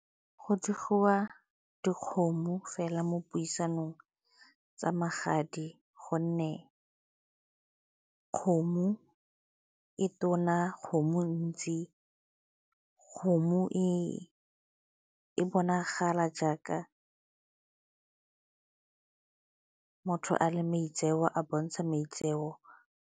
Go diriwa dikgomo fela mo puisanong tsa magadi gonne kgomo e tona, kgomo e ntsi, kgomo e bonagala jaaka motho a le maitseo, a bontsha maitseo.